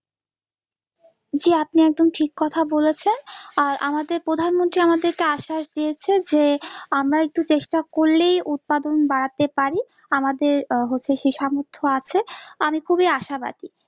জি, আপনি একদম ঠিক কথা বলেছেন আর আমাদের প্রধানমন্ত্রী আমাদেরকে আশ্বাস দিয়েছে যে আমরা একটু চেষ্টা করলেই উৎপাদন বাড়াতে পারি আমাদের আহ হচ্ছে সে সামর্থ্য আছে আমি খুবই আশাবাদী